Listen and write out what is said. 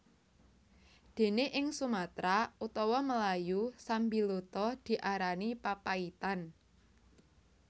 Dene ing Sumatra utawa Melayu sambiloto diarani papaitan